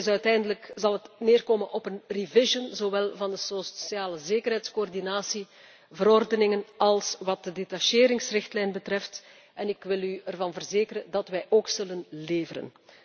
Uiteindelijk zal het neerkomen op een revision zowel van de socialezekerheidscoördinatieverordeningen als wat de detacheringsrichtlijn betreft, en ik wil u ervan verzekeren dat wij ook zullen leveren.